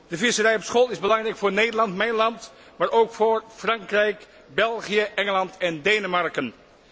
De visserij op schol is belangrijk voor mijn land, Nederland, maar ook voor Frankrijk, België, Engeland en Denemarken.